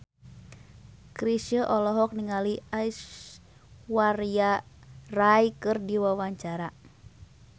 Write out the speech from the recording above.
Chrisye olohok ningali Aishwarya Rai keur diwawancara